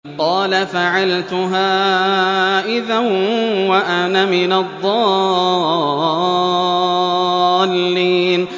قَالَ فَعَلْتُهَا إِذًا وَأَنَا مِنَ الضَّالِّينَ